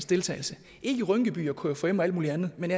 deltagelse ikke i rynkeby og kfum og alt muligt andet men